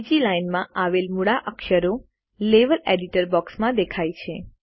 બીજી લાઇનમાં આવેલ મૂળાક્ષરો લેવેલ એડિટર બોક્સમાં દેખાય છે